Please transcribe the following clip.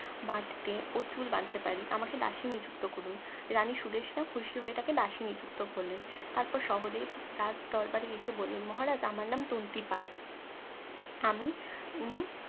বাধতে ও চুল বাঁধতে পারি আমাকে দাসী নিযুক্ত করুন রানী সুদেশ্না খুশি হয়ে তাকে দাসী নিযুক্ত করলেন তার পর সহদেব রাজ দরবারে এসে বললেন মহারাজ আমার নাম তন্ত্রিপাল আমি উনি